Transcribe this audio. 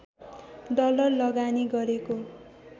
dollar लगानी गरेको